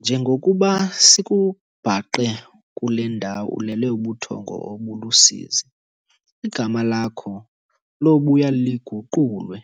"Njengokuba sikubhaqe kule ndawo ulele ubuthongo obulusizi, igama lakho lobuya liguqulwe